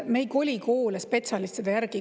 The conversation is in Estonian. Me ei koli koole spetsialistide järgi.